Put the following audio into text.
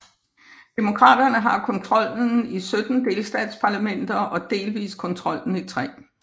Demokraterne har kontrollen i 17 delstatsparlamenter og delvist kontrollen i 3